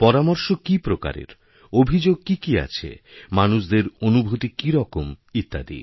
পরামর্শ কিপ্রকারের অভিযোগ কী কী আছে মানুষদের অনুভূতি কী রকম ইত্যাদি